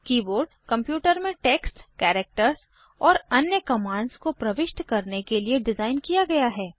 keyboard computer में text characters और अन्य कमांड्स को प्रविष्ट करने के लिए डिज़ाइन किया गया है